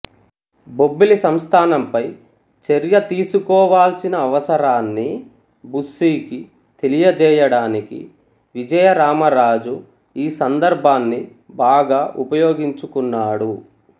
బొబ్బిలి సంస్థానంపై చర్య తీసుకోవాల్సిన అవసరాన్ని బుస్సీకి తెలియజేయడానికి విజయరామరాజు ఈ సందర్భాన్ని బాగా ఉపయోగించుకున్నాడు